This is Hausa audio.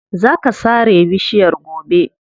Za ka sare bishiyar gobe.